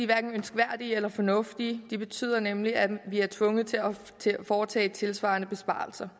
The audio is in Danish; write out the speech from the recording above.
hverken ønskværdige eller fornuftige de betyder nemlig at vi er tvunget til at foretage tilsvarende besparelser